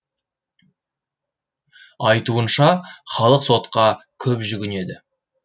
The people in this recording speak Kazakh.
айтуынша халық сотқа көп жүгінеді